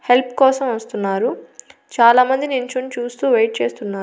help కోసం వస్తున్నారు చాలా మంది నించొని చూస్తూ వెయిట్ చేస్తున్నా--